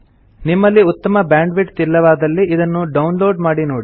ನಿಮ್ಮಲ್ಲಿ ಉತ್ತಮ ಬ್ಯಾಂಡ್ವಿಡ್ತ್ ಇಲ್ಲವಾದಲ್ಲಿ ಇದನ್ನು ಡೌನ್ ಲೋಡ್ ಮಾಡಿ ನೋಡಿ